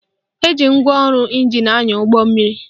Eji ngwaọrụ ịnjin anya ụgbọmmiri